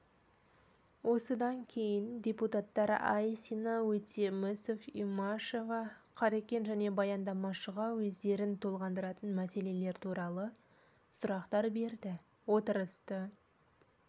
осыдан кейін депутаттар айсина өтемісов имашева қарекен және баяндамашыға өздерін толғандыратын мәселелер туралы сұрақтар берді отырысты